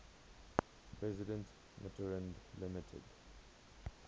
president mitterrand limited